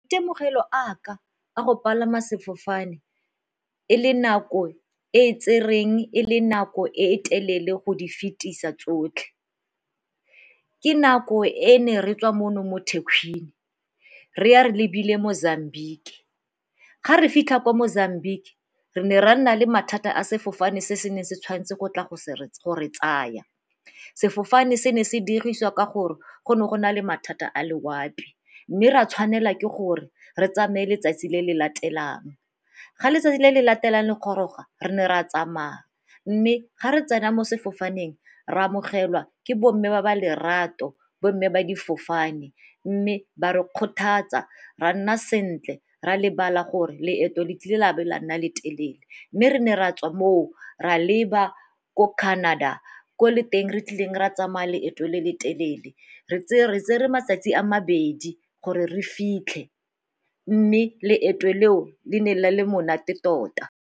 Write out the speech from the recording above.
Temogelo a ka a go palama sefofane e le nako e e tsereng, e le nako e telele go di fetisa tsotlhe. Ke nako e ne re tswa mono mo Thekwini re ya re lebile Mozambique. Ga re fitlha ko Mozambique re ne ra nna le mathata a sefofane se se neng se tshwanetse go tla go re gore tsaya sefofane se ne se diriswa ka gore go ne go na le mathata a loapi mme ra tshwanela ke gore re tsamaye letsatsi le le latelang. Ga letsatsi le le latelang le goroga re ne re a tsamaya mme ga re tsena mo sefofaneng re a amogelwa ke bo mme ba ba lerato, bo mme ba difofane mme ba re kgothatsa ra nna sentle ra lebala gore leeto le tlile la be la nna le telele. Mme re ne ra tswa moo ra leba ko Canada, ko le teng re tlileng ra tsamaya leeto le le telele re tse re matsatsi a mabedi gore re fitlhe mme loeto leo le ne le le monate tota.